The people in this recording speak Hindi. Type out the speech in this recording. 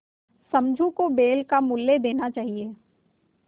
समझू को बैल का मूल्य देना चाहिए